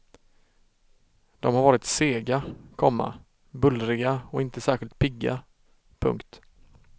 De har varit sega, komma bullriga och inte särskilt pigga. punkt